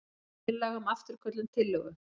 Tillaga um afturköllun tillögu.